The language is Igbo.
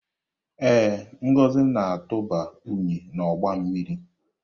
Ee, Ngozi na-atụba unyi n'ọgba mmiri.